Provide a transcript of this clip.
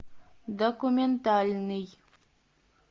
документальный